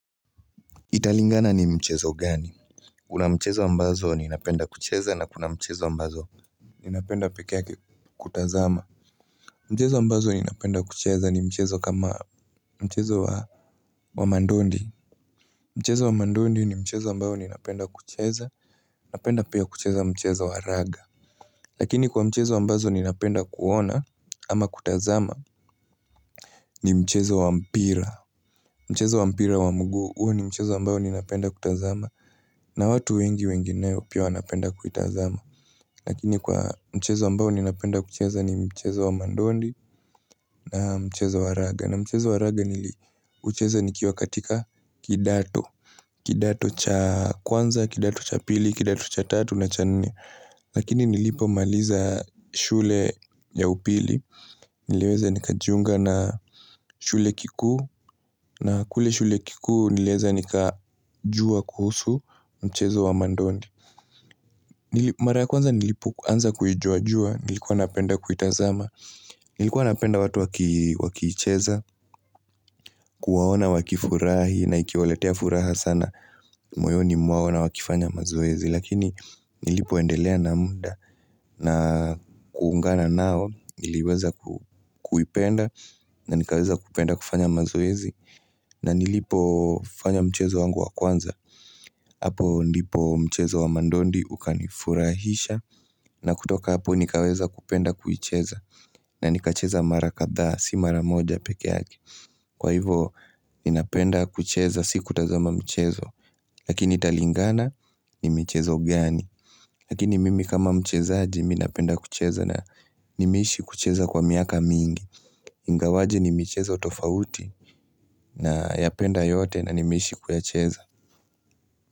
Italingana ni mchezo gani? Kuna mchezo ambazo ninapenda kucheza na kuna mchezo ambazo ninapenda peke yake kutazama. Mchezo ambazo ninapenda kucheza ni mchezo kama mchezo wa mandondi. Mchezo wa mandondi ni mchezo ambao ninapenda kucheza, napenda pia kucheza mchezo wa raga. Lakini kwa mchezo ambazo ninapenda kuona ama kutazama ni mchezo wa mpira. Mchezo wa mpira wa mguu huu ni mchezo ambao ninapenda kutazama. Na watu wengi wengineo pia wanapenda kuitazama. Lakini kwa mchezo ambao ninapenda kucheza ni mchezo wa mandondi na mchezo wa raga na mchezo wa raga niliucheza nikio katika kidato kidato cha kwanza, kidato cha pili, kidato cha tatu na cha nne Lakini nilipomaliza shule ya upili Niliweza nikajiunga na shule kikuu na kule shule kikuu niliweza nikajua kuhusu mchezo wa mandondi Mara ya kwanza nilipoanza kuijuajua, nilikuwa napenda kuitazama, nilikuwa napenda watu wakicheza, kuwaona wakifurahi na ikiwaletea furaha sana, moyoni mwao na wakifanya mazoezi, lakini nilipoendelea na muda, na kuungana nao niliweza kuipenda, na nikaweza kupenda kufanya mazoezi, na nilipofanya mchezo wangu wa kwanza, hapo ndipo mchezo wa mandondi ukanifurahisha na kutoka hapo nikaweza kupenda kuicheza na nikacheza mara kadhaa si mara moja peke yake. Kwa hivo ninapenda kucheza sikutazama michezo, lakini italingana ni michezo gani Lakini mimi kama mchezaji mi napenda kucheza na nimeishi kucheza kwa miaka mingi Ingawaje ni michezo tofauti nayapenda yote na nimeishi kuyacheza.